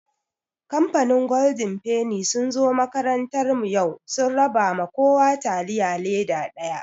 Kamfanin golden feni sun zo makarantar mu yau, sun raba ma kowa taliya leda ɗaya.